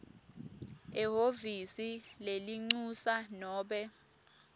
ehhovisi lelincusa nobe